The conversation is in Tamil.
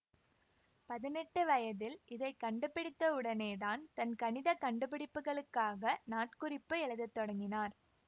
பதினெட்டு வயதில் இதை கண்டுபிடித்தவுடனேதான் தன் கணித கண்டுபிடிப்புகளுக்காக நாட்குறிப்பு எழுதத் தொடங்கினார்